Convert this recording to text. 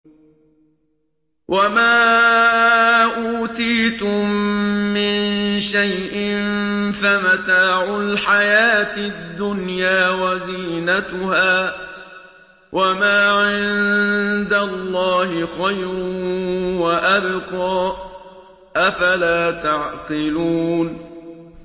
وَمَا أُوتِيتُم مِّن شَيْءٍ فَمَتَاعُ الْحَيَاةِ الدُّنْيَا وَزِينَتُهَا ۚ وَمَا عِندَ اللَّهِ خَيْرٌ وَأَبْقَىٰ ۚ أَفَلَا تَعْقِلُونَ